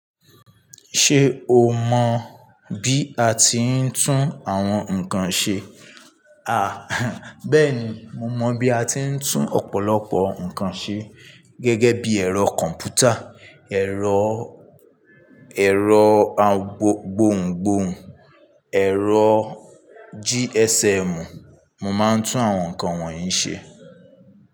Ṣé o mọ bí a ti ń tún àwọn nǹkan ṣe? À, bẹ́ẹ̀ni mo mọ bí a ti ń tún ọ̀pọ̀lọpọ̀ ǹkan ṣe gẹ́gẹ́ bí ẹ̀rọ kọ̀m̀pútà, ẹ̀rọ, ẹ̀rọ gbohùngbohùn, ẹ̀rọ GSM. Mo máa ń tún àwọn nǹkan wọ̀nyí ṣe.